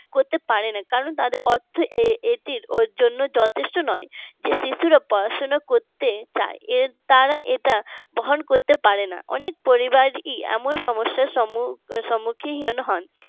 করতে পারে না কারণ তাদের অর্থ এটির জন্য যথেষ্ট নয় যে শিশুরা পড়াশোনা করতে চায় তারা এটা বহন করতে পারে না অনেক পরিবারই এমন সমস্যার সম্মুখীন হন